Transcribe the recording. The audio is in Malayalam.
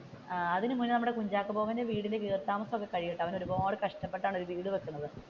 അതിനു മുന്നേ നമ്മുടെ കുഞ്ചാക്കോ ബോബന്റേ വീടിന്റെ വീട് താമസം ഒക്കെ കഴിയുംട്ടോ അവർ ഒരുപാട് കഷ്ടപ്പെട്ടാണ് ഒരു വീട് വെക്കുന്നത്.